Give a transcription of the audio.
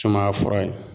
Sumaya fura ye